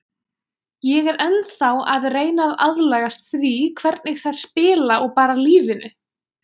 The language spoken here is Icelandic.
Ég er ennþá að reyna að aðlagast því hvernig þær spila og bara lífinu.